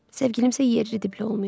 Sevgilim isə yerli-dibli olmayıb.